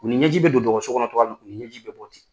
U ni ɲɛji bɛ don dɔgɔso kɔnɔ cogoya min u ni ɲɛji bɛ bɔ ten.